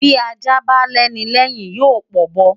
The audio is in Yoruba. Bí Ajá bá lẹ́ni lẹ́yìn yóò p'ọ̀bọ.